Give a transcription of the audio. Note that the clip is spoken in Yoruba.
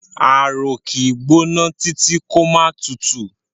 Ààrò kì í gbóná títí kó máà tutù.